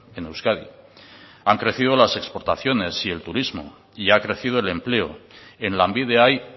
en euskadi han crecido las exportaciones y el turismo y ha crecido el empleo en lanbide hay